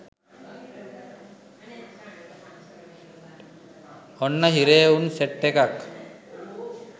ඔන්න හිරේ උන් සෙට් එකක්